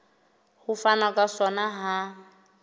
ho fanwa ka sona ha